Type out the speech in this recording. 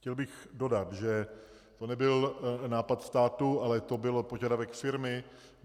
Chtěl bych dodat, že to nebyl nápad státu, ale byl to požadavek firmy.